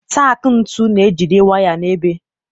Taak ntu na-ejide waya n'ebe.